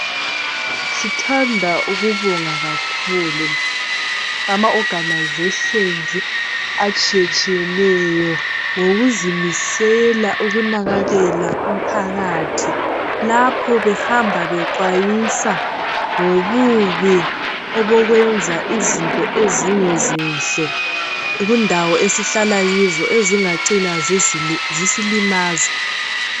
Sithanda ukubonga kakhulu amaorganisations atshiyetshiyeneyo ngokuzimisela ukunakakela umphakathi lapho behamba bexwayisa ngobubi obokwenza izinto ezingezinhle kundawo esihlala kizo ezingacina zisilimaza.